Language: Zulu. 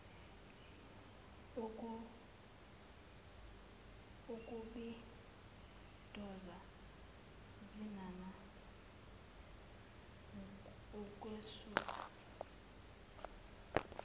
ukubitoza cinana wukwesutha